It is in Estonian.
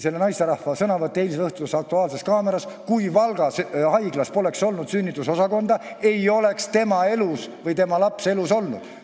Selle naisterahva sõnavõtt eileõhtuses "Aktuaalses kaameras" oli absoluutselt õige – kui Valga Haiglas poleks olnud sünnitusosakonda, ei oleks tema või tema laps ellu jäänud.